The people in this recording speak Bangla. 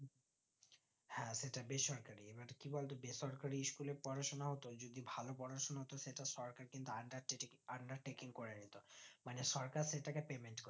হ্যাঁ সেটা বেসরকারি এবার কি বলতো বেসরকারি school এ পড়াশোনা হতো যদি ভালো পড়াশোনা হতো সেটা সরকার কিন্তু undertaking করে নিতো মানে সরকার সেটাকে payment করতো